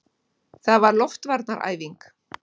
Það var loftvarnaæfing!